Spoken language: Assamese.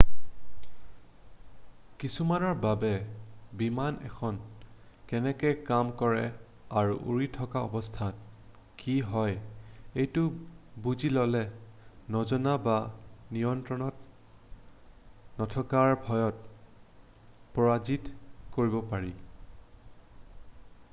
কিছুমানৰ বাবে বিমান এখনে কেনেকৈ কাম কৰে আৰু উৰি থকা অৱস্থাত কি হয় এইটো বুজি ল'লে নজনা বা নিয়ন্ত্ৰণত নথকাৰ ভয়ক পৰাজিত কৰিব পাৰি